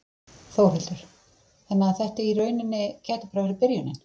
Þórhildur: Þannig að þetta í rauninni gæti bara verið byrjunin?